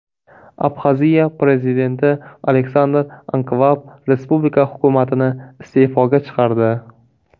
Abxaziya prezidenti Aleksandr Ankvab respublika hukumatini iste’foga chiqardi.